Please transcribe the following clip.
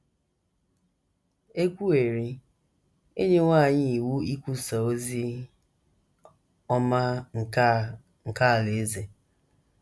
E kwuwerị, e nyewo anyị iwu ikwusa “ ozi ọma nke a nke alaeze. ”